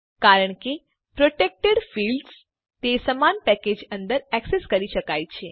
કારણ કે protected fields ને સમાન પેકેજ અંદર એક્સેસ કરી શકાય છે